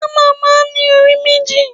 Hámà máa ń ní orí méjì.